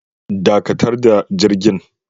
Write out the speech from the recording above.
Dakatar da jirgin